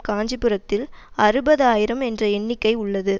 காஞ்சிபுரத்தில் அறுபது ஆயிரம் என்ற எண்ணிக்கை உள்ளது